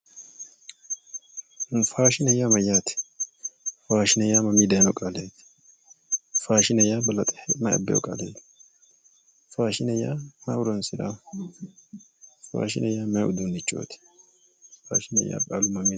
Faashine yaa mayyaate? Faashine yaa mamii dayiino qaleeti? Faashine yaa balaxe mayi abbeyo qaleeti? Faashine yaa ayi horonsiranno? Faashine yaa ayi horonsiranno? Faashine yaa qaalu mayiinniho?